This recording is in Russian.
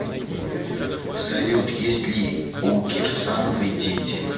салют есть ли у кирсановой дети